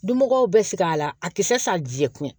Dunmɔgɔw bɛ sigi a la a tɛ se ka jɛ kuyɛ